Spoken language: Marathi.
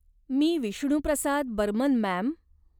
मी विष्णुप्रसाद बर्मन, मॅम.